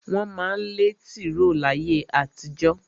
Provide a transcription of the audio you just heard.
Wọ́n má ń lẹ́ tìró láyé àtijó.